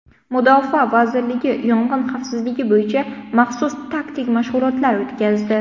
Mudofaa vazirligi yong‘in xavfsizligi bo‘yicha maxsus taktik mashg‘ulotlar o‘tkazdi.